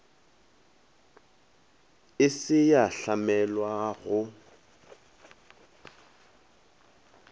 e se ya hlamelwa go